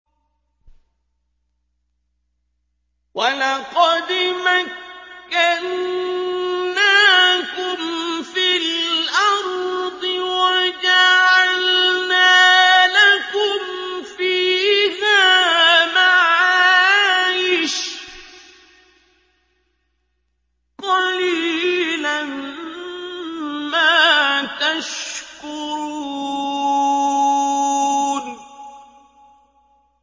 وَلَقَدْ مَكَّنَّاكُمْ فِي الْأَرْضِ وَجَعَلْنَا لَكُمْ فِيهَا مَعَايِشَ ۗ قَلِيلًا مَّا تَشْكُرُونَ